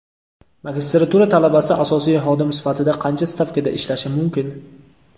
Magistratura talabasi asosiy xodim sifatida qancha stavkada ishlashi mumkin?.